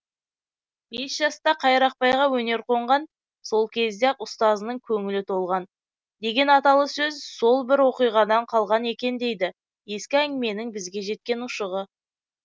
бес жаста қайрақбайға өнер қонған сол кезде ақ ұстазының көңілі толған деген аталы сөз сол бір оқиғадан қалған екен дейді ескі әңгіменің бізге жеткен ұшығы